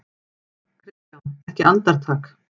KRISTJÁN: Ekki andartak?